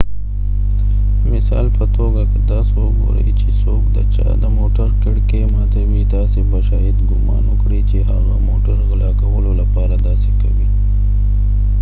د مثال په توګه که تاسو وګورئ چي څوک د چا د موټر کړکئ ماتوې تاسي به شاید ګومان وکړئ چي هغه موټر غلا کولو لپاره داسي کوې